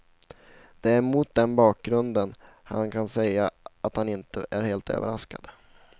Det är mot den bakgrunden han kan säga att han inte är helt överraskad.